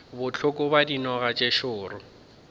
bohloko bja dinoga tše šoro